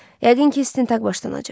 Yəqin ki, istintaq başlanacaq.